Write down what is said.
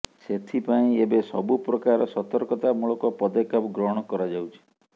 ସେଥିପାଇଁ ଏବେ ସବୁପ୍ରକାର ସତର୍କତା ମୂଳକ ପଦକ୍ଷେପ ଗ୍ରହଣ କରାଯାଉଛି